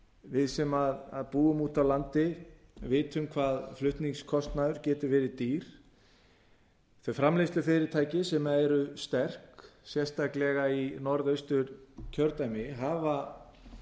við sem búum úti á landi vitum hvað flutningskostnaður getur verið dýr þau framleiðslufyrirtæki sem eru sterk sérstaklega í norðausturkjördæmi hafa